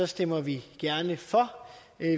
stemmer vi gerne for